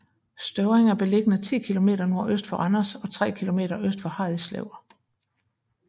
Støvring er beliggende 10 kilometer nordøst for Randers og tre kilometer øst for Harridslev